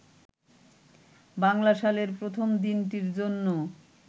বাংলা সালের প্রথম দিনটির জন্য